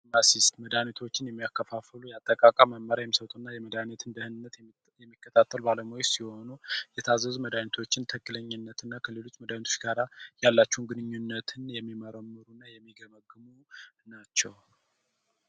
ፋርማሲስት መድኃኒቶችን የሚያከፋፍሉ፣ የአጠቃቀም መመሪያ የሚሰጡ እና የመድኃኒት ደህንነትን የሚከታተሉ ባለሙያዎች ናቸው። የታዘዙ መድኃኒቶች ትክክለኛነትና ከሌሎች መድኃኒቶች ጋር ያላቸውን ግንኙነት ይገመግማሉ ናቸው ።